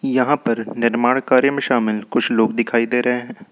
यहां पर निर्माण कार्य में शामिल कुछ लोग दिखाई दे रहे हैं।